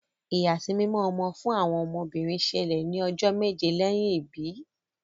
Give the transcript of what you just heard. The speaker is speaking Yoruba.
ìyàsímímọ ọmọ fún ọmọ obìrin ṣẹlẹ ní ojó méje lẹyìn ibí.